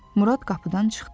Murad qapıdan çıxdı.